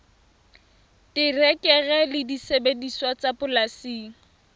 terekere le disebediswa tsa polasing